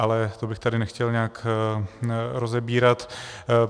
Ale to bych tady nechtěl nějak rozebírat.